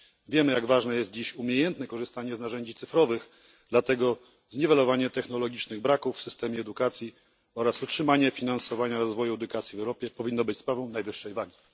Wiemy, jak ważne jest dziś umiejętne korzystanie z narzędzi cyfrowych, dlatego zniwelowanie braków technologicznych w systemie edukacji oraz utrzymanie finansowania rozwoju edukacji w Europie powinny być sprawą najwyższej wagi.